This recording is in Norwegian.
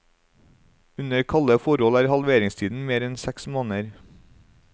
Under kalde forhold er halveringstiden mer enn seks måneder.